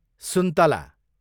सुन्तला